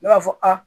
Ne b'a fɔ a